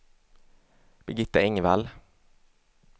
Birgitta Engvall